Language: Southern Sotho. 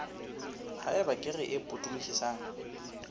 ha eba kere e potolohisang